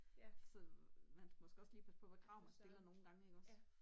Så man skal måske også lige passe på hvad krav man stiller nogle gange ikke også